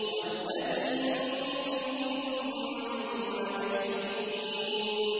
وَالَّذِي يُمِيتُنِي ثُمَّ يُحْيِينِ